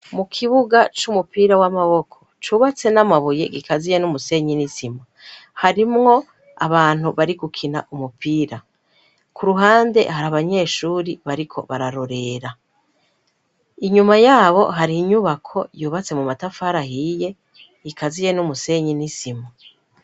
Mu kibuga c'umupira w'amaboko cubatse n'amabuye gikaziye n'umusenyi nisimu harimwo abantu bari gukina umupira ku ruhande hari abanyeshuri bariko bararorera inyuma yabo hari inyubako yubatse mu matafarahiye gikaziye n'umusenyi nisimu.